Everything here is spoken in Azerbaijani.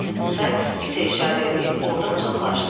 Sakes itə işarə eləyib ordan uzaqlaşdı.